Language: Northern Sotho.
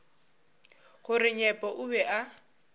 gore nyepo o be a